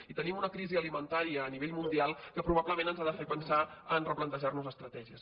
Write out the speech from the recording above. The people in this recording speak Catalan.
i tenim una crisi alimentària a nivell mundial que probablement ens ha de fer pensar a replantejar nos estratègies